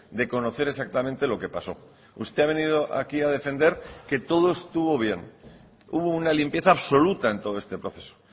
de conocer exactamente lo que pasó usted ha venido aquí a defender que todo estuvo bien hubo una limpieza absoluta en todo este proceso